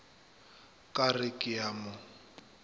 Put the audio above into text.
ka re ke a mo